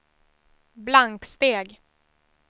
blanksteg